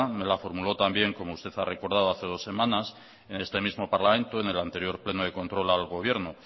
me la formuló también como usted ha recordado hace dos semanas en este mismo parlamento en el anterior pleno de control al gobierno